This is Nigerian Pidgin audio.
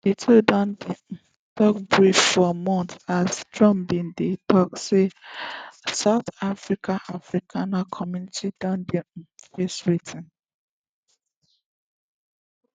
di two don um get beef for months as trump bin dey tok say south africas afrikaner community don dey um face wetin